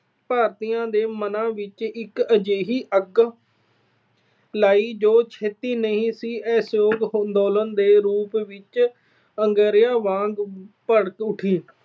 ਭਾਰਤੀਆਂ ਦੇ ਮਨਾਂ ਵਿੱਚ ਇੱਕ ਅਜਿਹੀ ਅੱਗ ਲਾਈ ਜੋ ਛੇਤੀ ਹੀ ਅਸਹਿਯੋਗ ਅੰਦੋਲਨ ਦੇ ਰੂਪ ਵਿੱਚ ਅੰਗਾਰਿਆਂ ਵਾਂਗ ਭੜਕ ਉਠੀ।